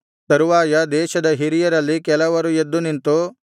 ತರುವಾಯ ದೇಶದ ಹಿರಿಯರಲ್ಲಿ ಕೆಲವರು ಎದ್ದು ನಿಂತು